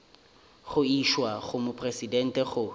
go išwa go mopresidente go